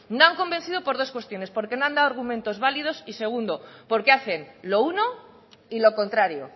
no han convencido por dos cuestiones porque no han dado argumentos válidos y segundo porque hacen lo uno y lo contrario